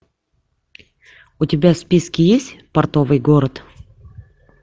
у тебя в списке есть портовый город